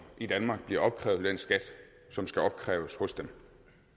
i danmark bliver opkrævet den skat som skal opkræves hos dem